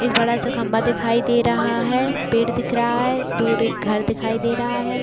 एक बड़ा सा खम्भा दिखाई दे रहा है पेड़ दिख रहा है दूर एक घर दिखाई दे रहा है।